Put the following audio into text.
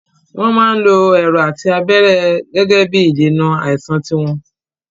Wọn máa ń lo Ẹ̀rọ̀ àti abẹ́rẹ́ Gẹ́gẹ́bí ìdènà àìsàn tiwọn